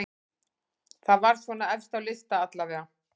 Það var svona efst á lista allavega.